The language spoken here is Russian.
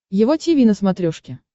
его тиви на смотрешке